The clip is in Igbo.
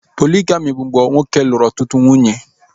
Poligami bụ mgbe nwoke lụrụ ọtụtụ nwunye